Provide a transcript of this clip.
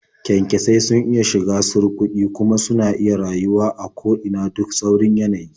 Kyankyasai sun iya shiga surƙuƙi, kuma suna iya rayuwa a ko ina duk tsaurin yanayi.